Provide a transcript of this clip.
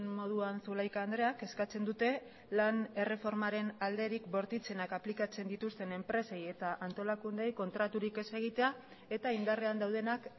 moduan zulaika andreak eskatzen dute lan erreformaren alderik bortitzenak aplikatzen dituzten enpresei eta antolakundeei kontraturik ez egitea eta indarrean daudenak